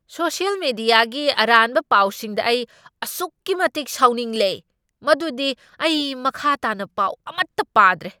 Social ꯃꯤꯗꯤꯌꯥꯒꯤ ꯑꯔꯥꯟꯕ ꯄꯥꯎꯁꯤꯡꯗ ꯑꯩ ꯑꯁꯨꯛꯀꯤ ꯃꯇꯤꯛ ꯁꯥꯎꯅꯤꯡꯂꯦ ꯃꯗꯨꯗꯤ ꯑꯩ ꯃꯈꯥ ꯇꯥꯅ ꯄꯥꯎ ꯑꯃꯠꯇ ꯄꯥꯗ꯭ꯔꯦ꯫